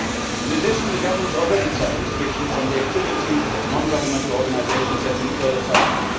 In addition, the governmentʼs already tough restrictions on the activities of non governmental organisations have been further tightened.